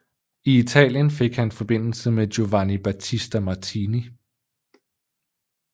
I Italien fik han forbindelse med Giovanni Battista Martini